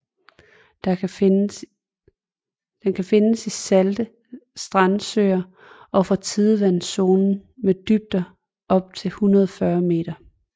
Den kan findes i salte strandsøer og fra tidevandszonen med dybder op til 140 meter